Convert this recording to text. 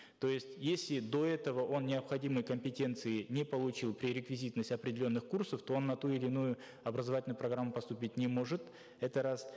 то есть если до этого он необходимой компетенции не получил пререквизитность определенных курсов то он на ту или иную образовательную программу поступить не может это раз